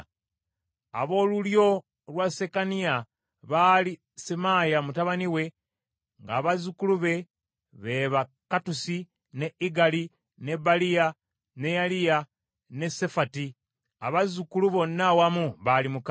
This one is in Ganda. Ab’olulyo lwa Sekaniya baali Semaaya mutabani we, ng’abazzukulu be ba Kattusi, ne Igali, ne Baliya, ne Neyaliya, ne Safati. Abazzukulu bonna awamu baali mukaaga.